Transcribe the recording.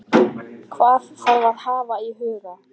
Hvað þarf að hafa í huga?